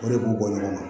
O de b'u bɔ ɲɔgɔn na